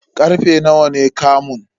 Karfe nawa ne kamun?